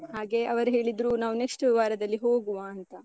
ಹಾಗೆ ಅವರು ಹೇಳಿದ್ರು, ನಾವ್ next ವಾರದಲ್ಲಿ ಹೋಗುವಾ ಅಂತ.